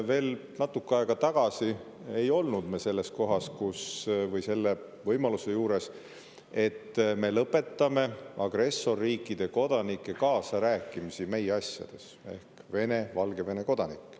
Veel natuke aega tagasi ei olnud me selles kohas või selle võimaluse juures, et me lõpetame agressorriikide kodanike ehk Vene ja Valgevene kodanike kaasarääkimise meie asjades.